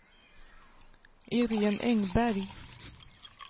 Iréne Engberg